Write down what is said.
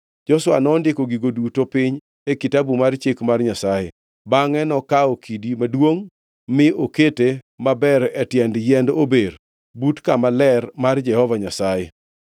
Joshua nondiko gigo duto piny e Kitabu mar Chik mar Nyasaye. Bangʼe nokawo kidi maduongʼ mi okete maber e tiend yiend ober but kama ler mar Jehova Nyasaye.